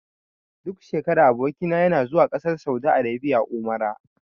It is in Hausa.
Duk shekara aboki na yana zuwa ƙasar saudi arabia umra.